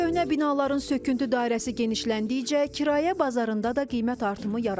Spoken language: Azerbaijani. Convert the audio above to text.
Köhnə binaların söküntü dairəsi genişləndikcə kirayə bazarında da qiymət artımı yaranır.